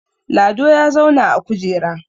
Lado ya zauna a kujera